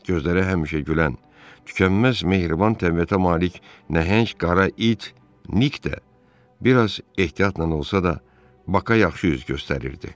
Gözləri həmişə gülən, tükənməz mehriban təbiətə malik nəhəng qara it, Nik də biraz ehtiyatla olsa da, Baka yaxşı üz göstərirdi.